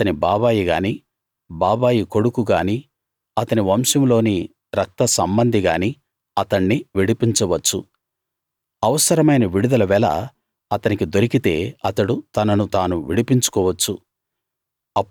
అతని బాబాయిగాని బాబాయి కొడుకు గాని అతని వంశంలోని రక్తసంబంధిగాని అతణ్ణి విడిపించవచ్చు అవసరమైన విడుదల వెల అతనికి దొరికితే అతడు తనను తాను విడిపించుకోవచ్చు